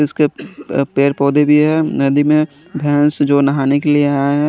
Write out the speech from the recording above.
इसके पेड़ पोधे भी है नदी में जो नहाने के लिए आये है।